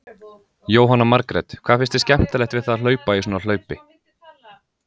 Jóhanna Margrét: Hvað finnst þér skemmtilegt við það að hlaupa í svona hlaupi?